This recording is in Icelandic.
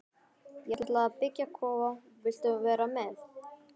Ég ætla að byggja kofa, viltu vera með?